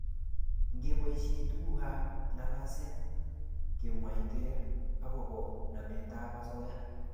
ngeposhe tuguk ab ngalaset kemwaitr akobo namet ab asoya